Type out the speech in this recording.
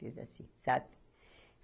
Fiz assim, sabe?